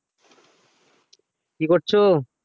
কী করছো?